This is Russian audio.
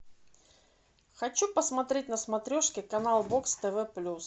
хочу посмотреть на смотрешке канал бокс тв плюс